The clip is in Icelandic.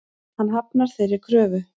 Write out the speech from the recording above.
Hann hafnar þeirri kröfu.